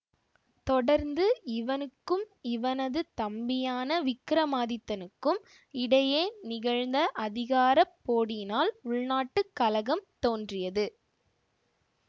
தொடர்ந்து இவனுக்கும் இவனது தம்பியான விக்கிரமாதித்தனுக்கும் இடையே நிகழ்ந்த அதிகார போடியினால் உள்நாட்டு கலகம் தோன்றியது